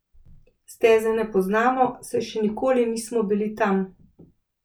Steze ne poznamo, saj še nikoli nismo bili tam.